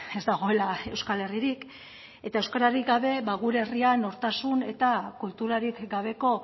ez dagoela euskal herririk eta euskerarik gabe gure herria nortasun eta kulturarik gabeko